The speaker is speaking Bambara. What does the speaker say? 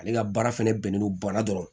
Ale ka baara fɛnɛ bɛnnen don ba la dɔrɔn